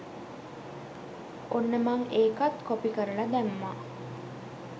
ඔන්න මං ඒකත් කොපි කරලා දැම්මා